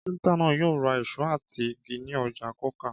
Kápẹ́ńtà náà yóò ra ìṣó àti igi ní ọjà Coker.